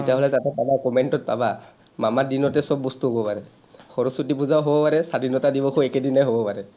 তেতিয়াহ’লে তাতে পাবা, comment ত পাবা, মামাৰ দিনতে চব বস্তু হ’ব পাৰে। সৰস্বতী পূজাও হ’ব পাৰে, স্বাধীনতা দিৱসো একেদিনাই হ’ব পাৰে।